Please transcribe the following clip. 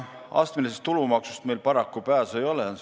Astmelisest tulumaksust meil paraku pääsu ei ole.